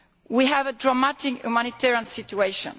We have a dramatic humanitarian situation.